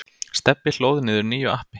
Stebbi hlóð niður nýju appi.